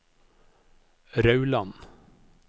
Rauland